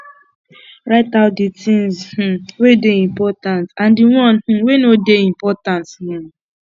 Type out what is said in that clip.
write out di things um wey dey important and di one um wey no dey important um